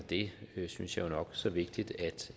jeg synes jo det er nok så vigtigt